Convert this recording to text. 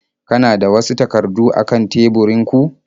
Kana da wasu takardu a kan teburinku?